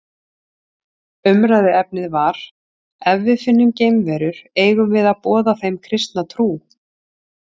Umræðuefnið var Ef við finnum geimverur, eigum við að boða þeim kristna trú?